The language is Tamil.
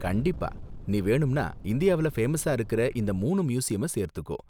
கண்டிப்பா! நீ வேணும்னா இந்தியாவுல ஃபேமஸா இருக்கிற இந்த மூனு மியூசியம சேர்த்துக்கோ.